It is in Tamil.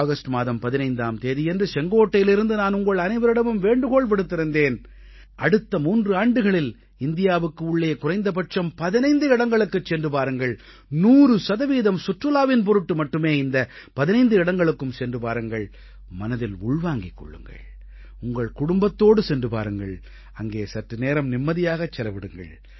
ஆகஸ்ட் மாதம் 15ஆம் தேதியன்று செங்கோட்டையிலிருந்து நான் உங்கள் அனைவரிடமும் வேண்டுகோள் விடுத்திருந்தேன் அடுத்த மூன்று ஆண்டுகளில் இந்தியாவுக்கு உள்ளே குறைந்தபட்சம் 15 இடங்களுக்குச் சென்று பாருங்கள் 100 சதவீதம் சுற்றுலாவின் பொருட்டு மட்டுமே இந்த 15 இடங்களுக்கும் சென்று பாருங்கள் மனதில் உள்வாங்கிக் கொள்ளுங்கள் உங்கள் குடும்பத்தோடு சென்று பாருங்கள் அங்கே சற்று நேரம் நிம்மதியாகச் செலவிடுங்கள்